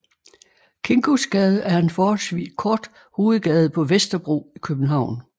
Kingosgade er en forholdsvis kort hovedgade på Vesterbro i København